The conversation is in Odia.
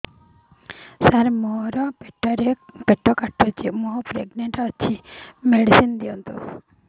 ସାର ମୋର ପେଟ କାଟୁଚି ମୁ ପ୍ରେଗନାଂଟ ଅଛି ମେଡିସିନ ଦିଅନ୍ତୁ